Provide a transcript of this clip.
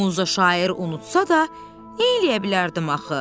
Muza şair unutsa da, neyləyə bilərdim axı?